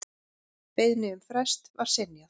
Beiðni um frest var synjað.